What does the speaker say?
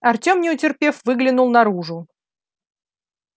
артем не утерпев выглянул наружу